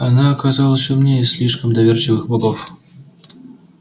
она оказалась умнее слишком доверчивых богов